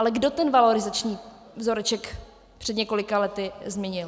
Ale kdo ten valorizační vzoreček před několika lety změnil?